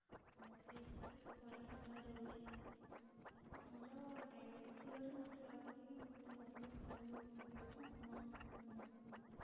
test ପରୀକ୍ଷା କରାଯାଉଛି ମୋର diabetes ଥିବାରୁ ମତେ ଲାଗୁଛି କି ମୋର ଦେହ ଅଧିକ ଖରାପ ହୋଉଥିବାରୁ ମୁଁ ଆପଣଙ୍କ ସହିତ ପରାମର୍ଶ କରୁଛି